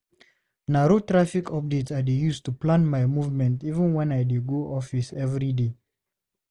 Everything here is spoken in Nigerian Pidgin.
Na radio traffic updates I dey use to plan my movement even wen I dey go office every day.